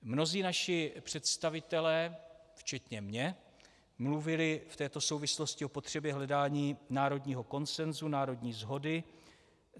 Mnozí naši představitelé, včetně mě, mluvili v této souvislosti o potřebě hledání národního konsenzu, národní shody.